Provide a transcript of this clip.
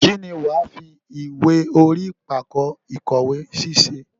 Kín ni wàá fi ìwé orí pákó ìkówèésí ṣe?